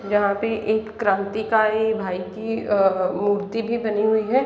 यहाँ पे एक क्रांतिकारी भाई की अ मूर्ति भी बनी हुई है।